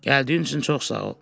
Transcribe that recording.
Gəldiyin üçün çox sağ ol.